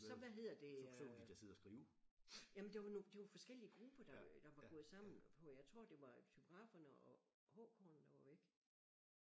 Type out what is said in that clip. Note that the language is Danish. Så hvad hedder jamen det var nogle det det var forskellige grupper der der var gået sammen på jeg tror det var typograferne og HK'erne der var væk